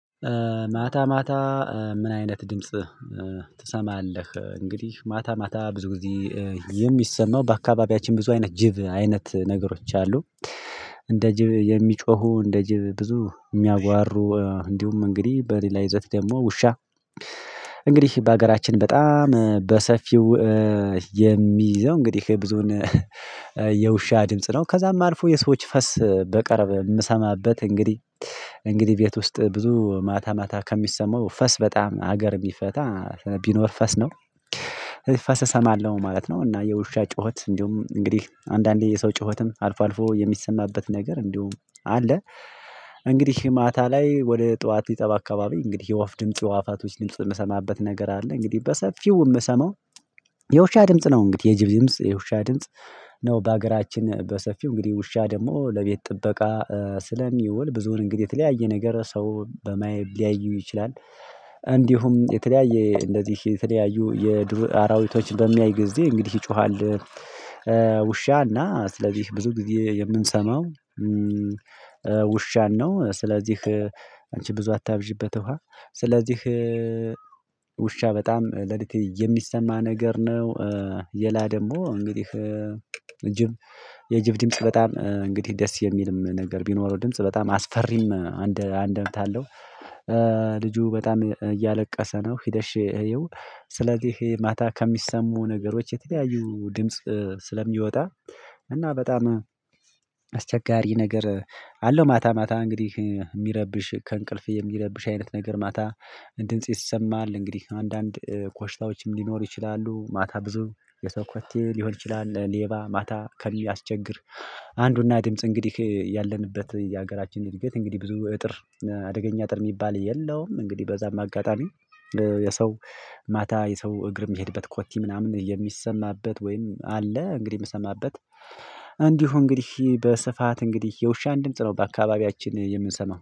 ማታ ማታ ምን አይነት ድምጽ ትሰማለህ እንግዲህ ማታ ማታ ብዙ ጊዜ የሚሰማው በአካባቢያችን ብዙ አይነት ጅብ አይነት ነገሮች አሉ። እንደ ጅብ የሚጮሁ እንደ ጅብ ብዙ የሚያጓሩ እንዲሁም እንግዲህ በሌላ ይዘት ደግሞ ውሻ። እንግዲህ በሀገራችን በጣም በሰፊው የሚይዘው እንግዲህ ብዙን የውሻ ድምጽ ነው ከዛም አልፎ የሰዎች ፈስ በቅርብ የምሰማበት እንግዲህ። እንግዲህ ቤት ውስጥ ብዙ ማታ ማታ ከሚሰማው ፈስ በጣም ሀገር ቢፈታ ቢኖር ፈስ ነው። ፈስ እሰማለሁ ማለት ነው እና የውሻ ጩኸት እንዲሁም እንግዲህ አንዳንዴ የሰው ጩኸትም አልፎ አልፎ የሚሰማበት ነገር እንዲሁም አለ። እንግዲህ ማታ ላይ ወደ ጠዋት ሊጠባ አካባቢ እንግዲህ የወፍ ድምጽ የአዋፋቶች ድምጽ የምሰማበት ነገር አለ። እንግዲህ በሰፊው የምሰማው የውሻ ድምጽ ነው። እንግዲህ የጅብ ድምጽ የውሻ ድምጽ ነው። በሀገራችን በሰፊው እንግዲህ ውሻ ደግሞ ለቤት ጥበቃ ስለሚውል ብዙውን እንግዲህ የተለያየ ነገር ሰው በማየት ሊያዩ ይችላል። እንዲሁም የተለያየ እንደዚህ የተለያዩ የዱር አራዊቶች በሚያይ ጊዜ እንግዲህ ይጮሃል። ውሻና ስለዚህ ብዙ ጊዜ የምንሰማው ውሻን ነው። ስለዚህ አንቺ ብዙ አታብዢበት ውሃ። ስለዚህ ውሻ በጣም ሌሊት የሚሰማ ነገር ነው። ሌላ ደግሞ እንግዲህ ጅብ የጅብ ድምጽ በጣም እንግዲህ ደስ የሚልም ነገር ቢኖረው ድምጽ በጣም አስፈሪም አንደምታ አለው። ልጁ በጣም እያለቀሰ ነው ሂደሽ ይየው። ስለዚህ ይሄ ማታ ከሚሰሙ ነገሮች የተለያዩ ድምጽ ስለሚወጣ እና በጣም አስቸጋሪ ነገር አለው። ማታ ማታ እንግዲህ የሚረብሽ ከእንቅልፍ የሚረብሽ አይነት ነገር ማታ ድምጽ ይሰማል። እንግዲህ አንዳንድ ኮሽታዎችም ሊኖሩ ይችላሉ። ማታ ብዙ የሰው ኮቴ ሊሆን ይችላል። ሌባ ማታ ከሚያስቸግር አንዱና ድምጽ እንግዲህ ያለንበት የሀገራችን እንግዲህ ብዙ እጥር አደገኛ አጥር የሚባል የለውም። እንግዲህ በዛም አጋጣሚ የሰው ማታ የሰው እግር የሚሄድበት ኮቴ ምናምን የሚሰማበት ወይም አለ። እንግዲህ የምሰማበት እንዲሁ እንግዲህ በስፋት እንግዲህ የውሻን ድምጽ ነው በአካባቢያችን የምንሰማው